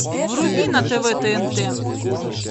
вруби на тв тнт